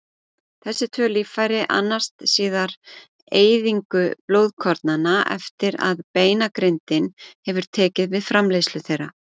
Þessi tvö líffæri annast síðar eyðingu blóðkornanna eftir að beinagrindin hefur tekið við framleiðslu þeirra.